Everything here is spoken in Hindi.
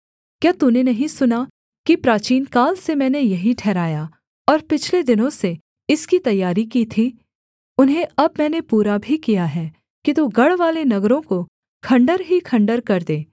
क्या तूने नहीं सुना कि प्राचीनकाल से मैंने यही ठहराया और पिछले दिनों से इसकी तैयारी की थी उन्हें अब मैंने पूरा भी किया है कि तू गढ़वाले नगरों को खण्डहर ही खण्डहर कर दे